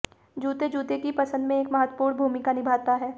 जूते जूते की पसंद में एक महत्वपूर्ण भूमिका निभाता है